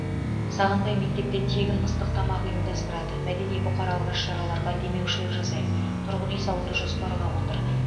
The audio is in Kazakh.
сағынбай мектепте тегін ыстық тамақ ұйымдастырады мәдени бұқаралық іс шараларға демеушілік жасайды тұрғын үй салуды жоспарлап отыр